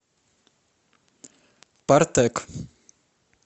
партек